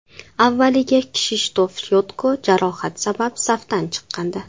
Avvaliga Kshishtof Yotko jarohat sabab safdan chiqqandi .